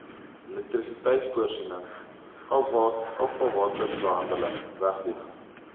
elektrisiteitvoorsiening afvalwaterbehandeling wegdoening